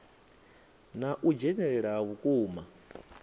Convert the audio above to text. na u dzhenelela ha vhukuma